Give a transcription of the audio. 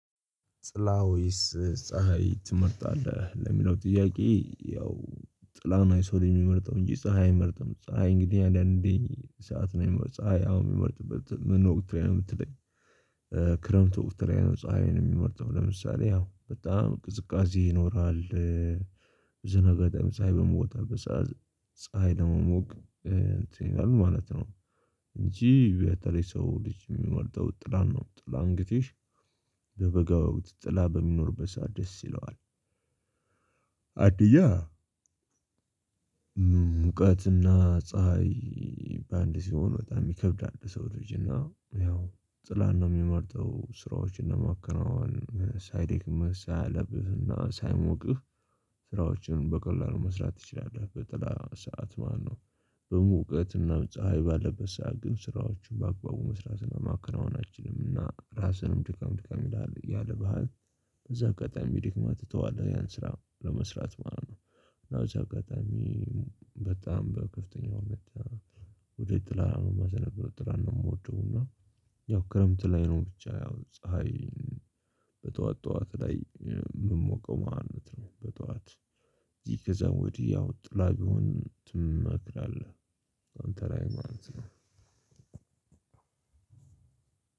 ጥላ ወይስ ፀሀይ ትመርጣለህ ለሚለው ጥያቄ? ያው ጥላ ነው የሰው ልጅ የሚመርጠው እንጂ ፀሀይ አይመርጥም ፀሀይ እንግዲህ አዳን እንዴ ሰዓት ነው የሚመርጥ ፀሀይ አሁን የትመርጥበት ምን ወቅት ላይ ነው ብትለኝ? ክረምት ወቅት ላይ ነው ፀሀይን የሚመርጠው ለምሳሌ ያው በጣም ቅዝቃዜ ይኖራል ዝነገጠም ፀሀይ በትወጣበት ሰዓት ፀሀይ ለመሞቅ እንትን ይላል ማለት ነው። እንጂ በተለይ ሰው ልጅ የሚመርጠው ጥላ ነው ጥላ እንግዲህ በበጋ ወቅት ጥላ በሚኖር በሰአት ደስ ይለዋል። አንደኛ ሙቀትና ፀሀይ በአንድ ሲሆን በጣም ይከብዳል ለሰው ልጅና ያው ጥላን ነው የሚመርጠው ስራዎችን ለማከናወን ሳይደክመህ ሳያለብህና ሳይሞቅህ። ስራዎችን በቀላሉ መስራት ትችላለህ በጥላ ሰዓት ማለት ነው። በሙቀትና በፀሀይ ባለበት ሰዓት ግን ስራዎቹን በአግባቡ መስራት እና ማከናወን አትችልም እና ራስንም ድካም ድካም ይላል ያልብሀል። በዛ አጋጣሚ ደክመህ ትተዋለህ ያን ስራ ለመስራት ማለት ነው። እና በእዛ አጋጣሚ በጣም በክፍተኛው ነች። ወዴት ጥላላ ነው የማዘነብለው ጥላን ነው የምወደው። እና ያው ክረምት ላይ ነው ብቻ ያው ፀሀይ በጠዋት ጠዋት ላይ የምሞቀው ማለት ነው። በጠዋት ይህ ከዛ ወዲህ ጥላ ቢሆን ትመክራለህ? አንተ ላይ ማለት ነው።